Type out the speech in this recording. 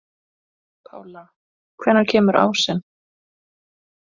Pála, hvenær kemur ásinn?